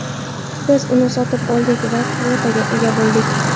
Biz uni sotib oldik va kvotaga ega bo‘ldik.